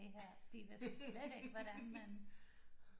De vidste slet ikke hvordan man